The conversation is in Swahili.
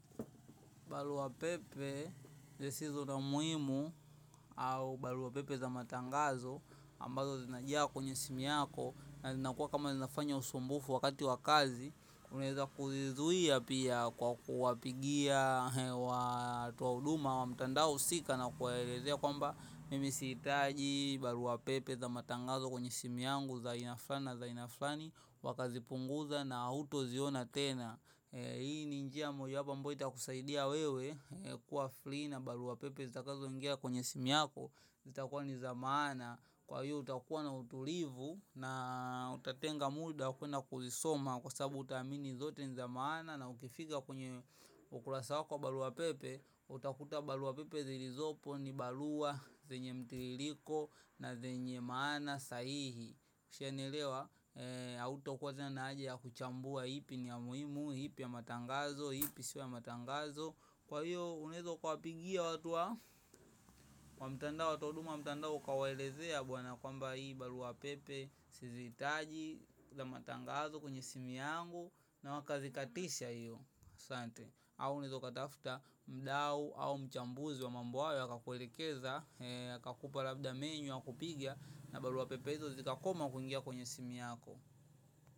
Barua pepe zisizo na muhimu au barua pepe za matangazo ambazo zinajaa kwenye simu yako na zinakuwa kama zinafanya usumbufu wakati wa kazi unaweza kuzizuia pia kwa kuwapigia watu wa huduma wa mtandao husika na kuwaelezea kwamba mimi sihitaji barua pepe za matangazo kwenye simu yangu za aina fulani na za aina fulani wakazipunguza na hauta ziona tena. Hii ni njia moja wapo abambyo itakusaidia wewe kuwa free na barua pepe zitakazo ingia kwenye simu yako, zitakua ni za maana. Kwa hiyo utakua na utulivu na utatenga muda wa kuenda kuzisoma, kwa sabu utaamini zote niza maana, na ukifika kwenye ukurasa wako wa barua pepe, utakuta barua pepe zilizopo ni barua zenye mtiririko na zenye maana sahihi, ushanielewa hautokuwa tena na haja ya kuchambua ipi ni ya muhimu, ipi ya matangazo, ipi sio ya matangazo kwa hiyo unaweza kuwapigia watu wa wa mtandao, watoa huduma wa mtandao ukawaelezea bwana kwamba hii barua pepe, sizihitaji za matangazo kwenye simu yangu na wakazikatisha hiyo asante, au unaweza ukatafuta mdau au mchambuzi wa mambo hayo akakulekeza akakupa labda menu ya kupigia na barua pepe hizo zikakoma kungia kwenye simu yako.